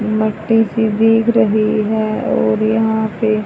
मिट्टी सी देख रही हैं और यहां पे--